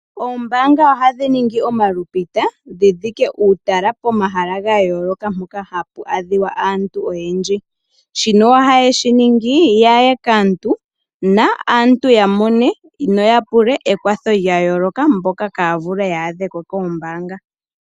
Oombaanga ohadhi ningi omalupita dhi dhike uutala pomahala ga yooloka mpoka hapu adhika aantu oyendji. Shino ohaye shi ningi ya ye kaantu naantu ya mone noya pule ekwatho lya yooloka mboka ihaaya vulu okuya ko koombaanga.